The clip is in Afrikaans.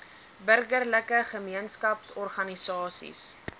burgerlike gemeenskaps organisasies